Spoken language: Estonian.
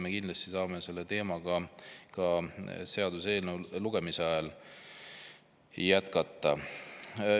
Me saame seda teemat kindlasti ka seaduseelnõu lugemise ajal jätkata.